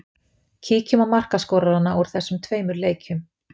Kíkjum á markaskorarana úr þessum tveimur leikjum.